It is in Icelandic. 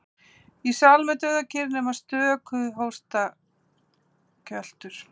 Í salnum er dauðakyrrð nema stöku hóstakjöltur.